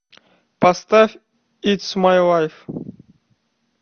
поставь итс май лайф